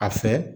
A fɛ